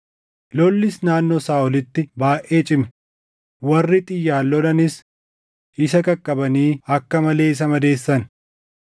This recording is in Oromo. Lollis naannoo Saaʼolitti baayʼee cime; warri xiyyaan lolanis isa qaqqabanii akka malee isa madeessan.